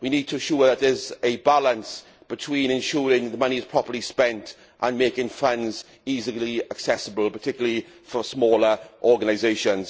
We need to ensure that there is a balance between ensuring that the money is properly spent and making funds easily accessible, particularly for smaller organisations.